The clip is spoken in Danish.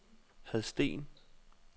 Hadsten